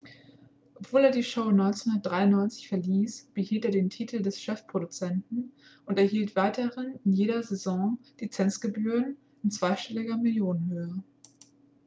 obwohl er die show 1993 verließ behielt er den titel des chefproduzenten und erhielt weiterhin in jeder saison lizenzgebühren in zweistelliger millionenhöhe